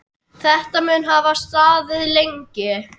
Þetta mun hafa staðið lengi.